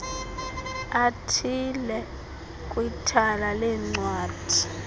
athile kwithala leencwadi